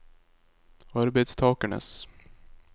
arbeidstakernes